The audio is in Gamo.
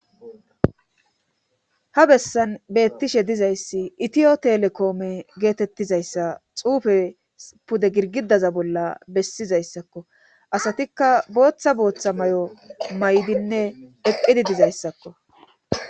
Ha bessan beettishshe dizayssi itiyo telekoome geetettizayssa xuufe pude girgidaza bolla bessizayssakko asatikka booththa booththa may'o may'dinne eqqidi dizayssakko